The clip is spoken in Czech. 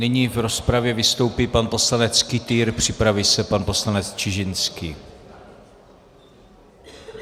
Nyní v rozpravě vystoupí pan poslanec Kytýr, připraví se pan poslanec Čižinský.